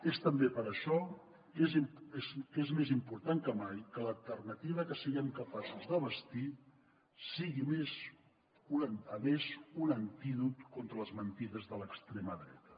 és també per això que és més important que mai que l’alternativa que siguem capaços de bastir sigui a més un antídot contra les mentides de l’extrema dreta